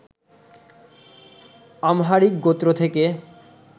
Amharic গোত্র থেকে